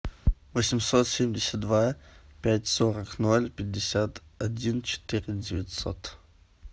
восемьсот семьдесят два пять сорок ноль пятьдесят один четыре девятьсот